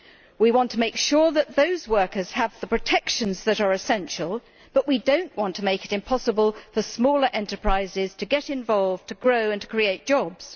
We want to make sure that those workers have the protections that are essential, but we do not want to make it impossible for smaller enterprises to get involved, to grow and to create jobs.